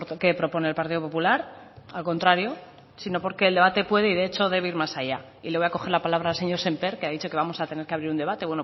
que propone el partido popular al contrario sino porque el debate puede y de hecho debe ir más allá y le voy a coger la palabra al señor sémper que ha dicho que vamos a tener que abrir un debate